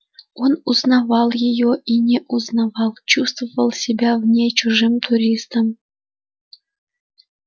он узнавал её и не узнавал чувствовал себя в ней чужим туристом